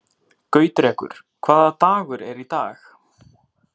Gautrekur, hvaða dagur er í dag?